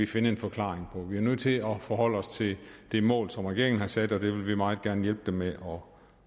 finde en forklaring på vi er nødt til at forholde os til det mål som regeringen har sat og vi vil meget gerne hjælpe den med at nå